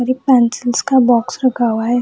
और ये पेंसिल्स का बॉक्स रखा हुआ है।